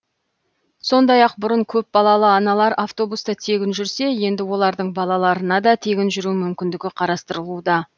сондай ақ бұрын көпбалалы аналар автобуста тегін жүрсе енді олардың балаларына да тегін жүру мүмкіндігі қарастырылуда